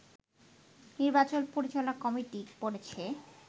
নির্বাচন পরিচালনা কমিটি বলছে